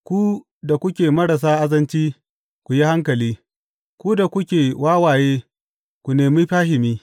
Ku da kuke marasa azanci, ku yi hankali; ku da kuke wawaye, ku nemi fahimi.